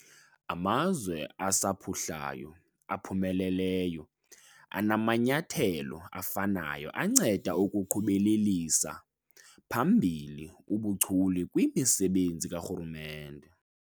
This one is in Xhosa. Amazwe asaphuhlayo aphumeleleyo anamanyathelo afanayo anceda ukuqhubelelisa phambili ubuchule kwimisebenzi karhulumente.